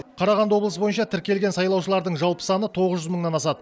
қарағанды облысы бойынша тіркелген сайлаушылардың жалпы саны тоғыз жүз мыңнан асады